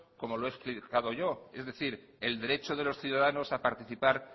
como lo he explicado yo es decir el derecho de los ciudadanos a participar